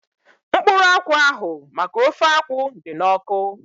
Mkpụrụ akwụ ahu maka ofe akwụ dị n'ọkụ